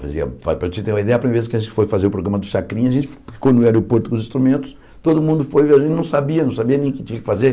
Para você ter uma ideia, a primeira vez que a gente foi fazer o programa do Chacrinha, a gente ficou no aeroporto com os instrumentos, todo mundo foi, a gente não sabia, não sabia nem o que tinha que fazer.